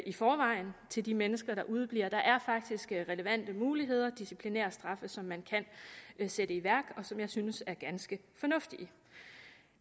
i forvejen til de mennesker der udebliver der er faktisk relevante muligheder for disciplinærstraffe som man kan sætte i værk og som jeg synes er ganske fornuftige